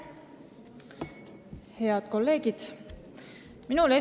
Head kolleegid!